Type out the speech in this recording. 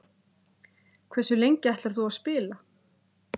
Hversu lengi ætlar þú að spila?